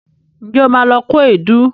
Ǹjẹ́ o ma lọ kó èédú?